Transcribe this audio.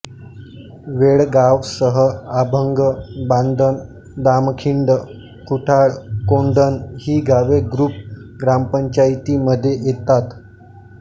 वेळगावसह आंभण बांधण दामखिंड खुटाळ कोंढण ही गावे गृप ग्रामपंचायतीमध्ये येतात